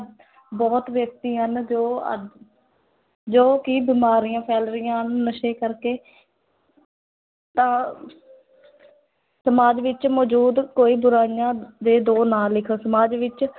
ਬਹੁਤ ਵਿਅਕਤੀ ਹਨ ਜੋ ਅ ਜੋ ਕਿ ਬਿਮਾਰੀਆਂ ਫੈਲ ਰਹੀਆਂ ਹਨ ਨਸ਼ੇ ਕਰਕੇ ਤਾਂ ਸਮਾਜ ਵਿੱਚ ਮੌਜੂਦ ਕੋਈ ਬੁਰਾਈਆਂ ਦੇ ਦੋ ਨਾਂ ਲਿਖ, ਸਮਾਜ ਵਿੱਚ